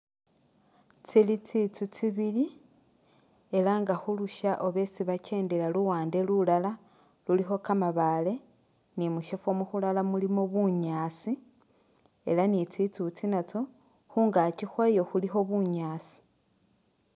Tsili tsitsu tsibili ela nga khulusha oba esi bakendela luwande lulala lulikho kamabaale ne mushifo mukhulala mulimo bunyaasi ela ne tsitsu itsi natso khungaki khwayo khulikho bunyaasi.